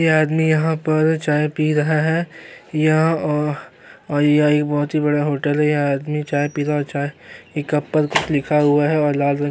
ये आदमी यहाँ पर चाय पी रहा है यह अ और यह एक बहोत ही बड़ा होटल है यह आदमी चाय पीता हुआ चाय ई कप पल कुछ लिखा हुआ है और लाल रंग --